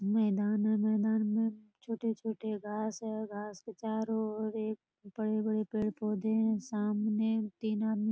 मैदान है मैदान में छोटे छोटे घास हैं | घास के चारों और एक बड़े बड़े पेड़ पौधे हैं | सामने तीन आदमी --